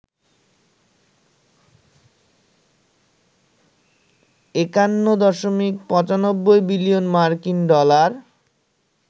৫১.৯৫ billion মার্কিন dollar